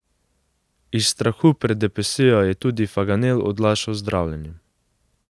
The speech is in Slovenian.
Iz strahu pred depresijo je tudi Faganel odlašal z zdravljenjem.